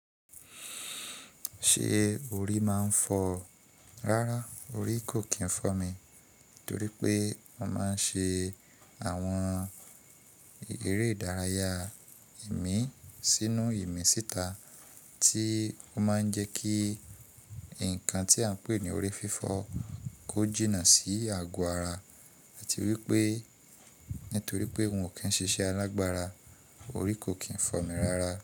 Ṣé orí máa ń fọ́? Rárá orí kò kí n fọ́ mi, torí pé mọ máa ń ṣe àwọn eré ìdárayá ìmí sínu ìmí síta tí ó máa ń jẹ́ kí ǹkan tí à ń pè ní orí fífọ́ kọ́ jìnnà sí ago ara àti wípé nítorí pé wọn kí ń ṣiṣẹ́ alágbára orí kò kí ń fọ́ mi rárá.